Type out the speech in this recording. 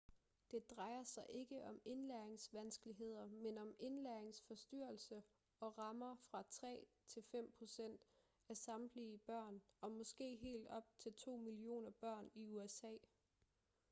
det drejer sig ikke om indlæringsvanskeligheder men om indlæringsforstyrrelser og rammer fra 3 til 5 procent af samtlige børn og måske helt op til 2 millioner børn i usa